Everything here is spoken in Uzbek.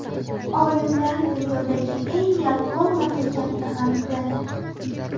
Olimlar dunyodagi eng yalqov mamlakatni aniqladi .